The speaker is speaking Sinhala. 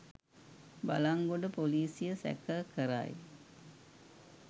බලන්ගොඩ පොලිසිය සැකකරයි